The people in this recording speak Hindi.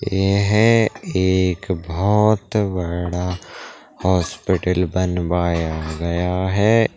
यह एक बोहोत बड़ा हॉस्पिटल बनवाया गया है।